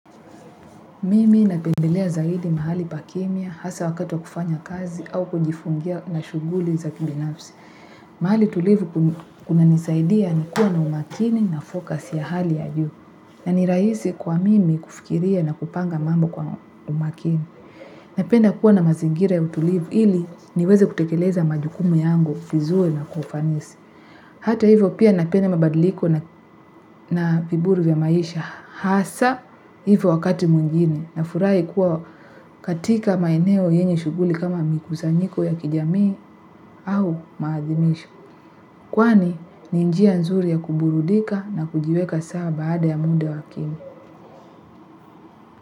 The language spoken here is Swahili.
Mimi napendelea zaidi mahali pa kimya, hasa wakati wa kufanya kazi au kujifungia na shughuli za kibinafsi. Mahali tulivu ku kunanisaidia nikuwe na umakini na focus ya hali ya juu na ni rahisi kwa mimi kufikiria na kupanga mambo kwa umakini. Napenda kuwa na mazingira ya utulivu ili niweze kutekeleza majukumu yangu vizuri na kwa ufanisi hata hivo pia napenda mabadiliko na na viburu vya maisha hasa hivo wakati mwingine nafurahi kuwa katika maeneo yenye shughuli kama mikusanyiko ya kijamii au maadhimisho kwani ni njia nzuri ya kuburudika na kujiweka sawa baada ya muda wa kimya.